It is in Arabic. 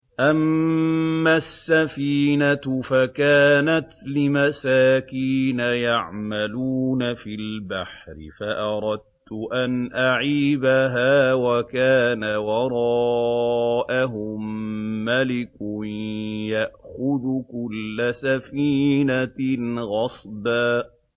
أَمَّا السَّفِينَةُ فَكَانَتْ لِمَسَاكِينَ يَعْمَلُونَ فِي الْبَحْرِ فَأَرَدتُّ أَنْ أَعِيبَهَا وَكَانَ وَرَاءَهُم مَّلِكٌ يَأْخُذُ كُلَّ سَفِينَةٍ غَصْبًا